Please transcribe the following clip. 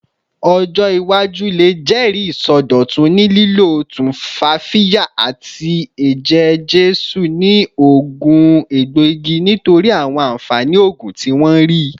Ọjọ iwaju le jẹri isọdọtun ni lilo tumfafiya ati eje-jesu ni oogun egboigi nitori awọn anfani oogun ti wọn rii